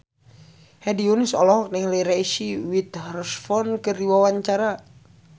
Hedi Yunus olohok ningali Reese Witherspoon keur diwawancara